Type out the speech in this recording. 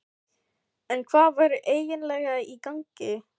En hvað væri eiginlega í gangi?